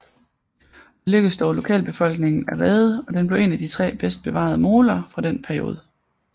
Det lykkedes dog lokalbefolkningen at redde og den blev en af de tre bedst bevaerede moler fra denne periode